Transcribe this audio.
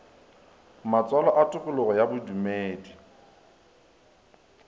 matswalo a tokologo ya bodumedi